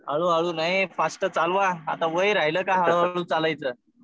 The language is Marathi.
हळू हळू नाही. फास्ट चालवा. वय राहिलं का हळू हळू चालायचं.